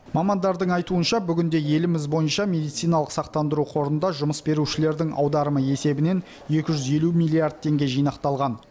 мамандардың айтуынша бүгінде еліміз бойынша медициналық сақтандыру қорында жұмыс берушілердің аударымы есебінен екі жүз елу миллиард теңге жинақталған